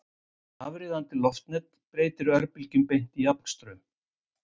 Afriðandi loftnet breytir örbylgjum beint í jafnstraum.